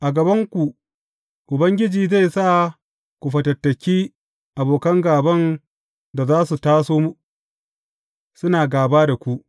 A gabanku, Ubangiji zai sa ku fatattaki abokan gāban da za su taso suna gāba da ku.